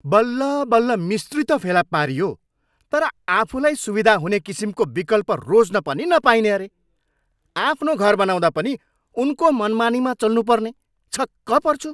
बल्लबल्ल मिस्त्री त फेला पारियो, तर आफूलाई सुविधा हुने किसिमको विकल्प रोज्न पनि नपाइने अरे! आफ्नो घर बनाउँदा पनि उनको मनमानीमा चल्नु पर्ने! छक्क पर्छु।